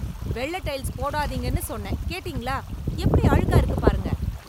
வெள்ள டைல்ஸ் போடாதீங்கன்னு சொன்னேன், கேட்டீங்களா? எப்படி அழுக்கா இருக்கு பாருங்க.